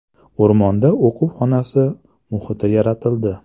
O‘rmonda o‘quv xonasi muhiti yaratildi.